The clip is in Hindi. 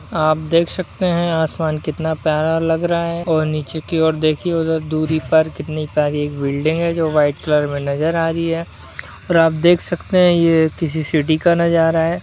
आप देख सकते हैं आसमान कितना प्यारा लग रहा हैं और नीचे की ओर देखिये उधर दुरी पर कितनी प्यारी एक बिल्डिंग है जो व्हाइट कलर में नज़र आ रही है और आप देख सकते है ये किसी सिटी का नज़ारा है।